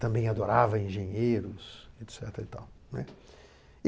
Também adorava engenheiros, et cetera e tal. E